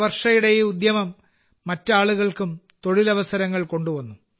വർഷയുടെ ഈ ഉദ്യമം മറ്റ് ആളുകൾക്കും തൊഴിലവസരങ്ങൾ കൊണ്ടുവന്നു